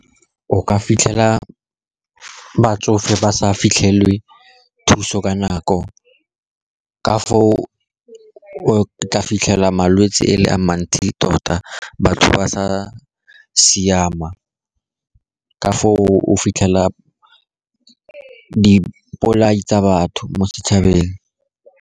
O ka fitlhela batsofe ba sa fitlhele thuso ka nako, ka foo o tla fitlhela malwetse e le a mantsi tota batho ba sa siama, ka foo o fitlhela dipolai tsa batho mo setšhabeng.